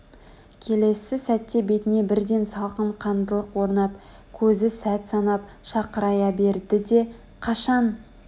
келесі сәтте бетіне бірден салқын қандылық орнап көзі сәт санап шақырая берді де қашан